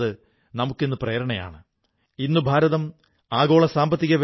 October 31 ന് ഭാരതത്തിന്റെ മുൻ പ്രധാനമന്ത്രി ഇന്ദിരാഗാന്ധിജിയെ നമുക്ക് നഷ്ടമായി